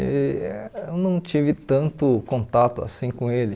E eu não tive tanto contato assim com ele.